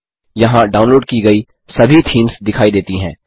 यहाँ डाउनलोड की गई सभी थीम्स दिखाई देती हैं